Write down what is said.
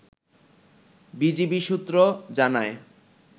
BGB সূত্র জানায়